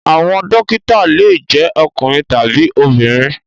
Àwọn dókítà le jẹ ọkùnrin tabi obìnrin.